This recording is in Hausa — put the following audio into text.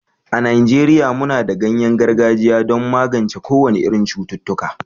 a Najeriya muna da ganyen gargajiya don magance kowane irin cututtuka